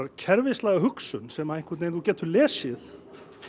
kerfislæga hugsun sem þú getur lesið